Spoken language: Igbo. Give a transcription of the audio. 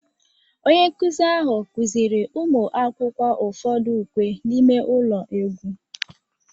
Onye nkụzi ahụ kụziiri ụmụ akwụkwọ ụfọdụ ukwe n'ime ụlọ egwu